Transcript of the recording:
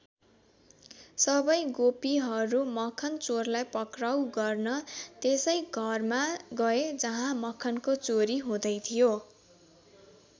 सबै गोपीहरू मखन चोरलाई पक्राउ गर्न त्यसै घरमा गए जहाँ मखनको चोरी हुँदै थियो।